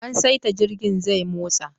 An saita jirgin zai motsa